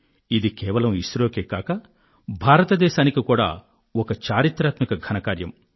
ఇది కేవలం ఇస్రో కే కాక భారతదేశానికి కూడా ఒక చరిత్రాత్మక విశిష్ట కార్యం